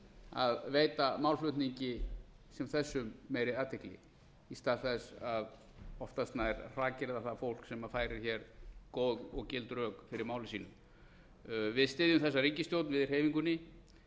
að veita málflutningi sem þessum meiri athygli í stað þess að oftast nær hrakyrða það fólk sem færir góð og gild rök fyrir máli sínu við styðjum þessa ríkisstjórn við í hreyfingunni